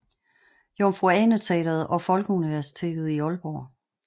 Jomfru Ane Teatret og Folkeuniversitetet i Aalborg